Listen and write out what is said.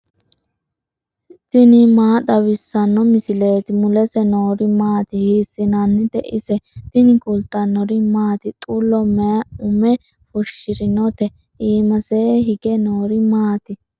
tini maa xawissanno misileeti ? mulese noori maati ? hiissinannite ise ? tini kultannori maati? Xullo mayi ume fushirinotte? iimasenni hige noori maatti?